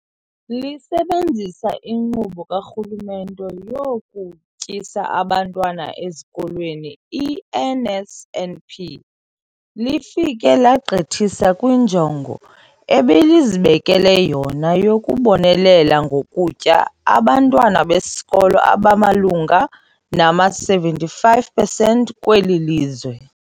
Lisebenzisa iNkqubo kaRhulumente yokuTyisa Abantwana Ezikolweni, i-NSNP, lifike legqithisa kwinjongo ebelizibekele yona yokubonelela ngokutya abantwana besikolo abamalunga nama-75 percent kweli lizwe.